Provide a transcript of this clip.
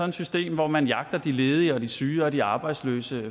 et system hvor man jagter de ledige og de syge og de arbejdsløse